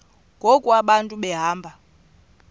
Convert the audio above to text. ngoku abantu behamba